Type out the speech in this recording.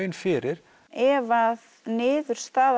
fyrir ef að niðurstaða